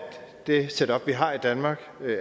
det setup vi har i danmark